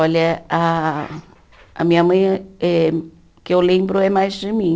Olha, a a minha mãe eh, que eu lembro, é mais de mim.